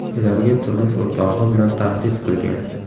ularga turmush o‘rtog‘i bilan tahdid qilgan.